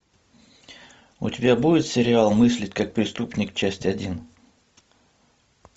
у тебя будет сериал мыслить как преступник часть один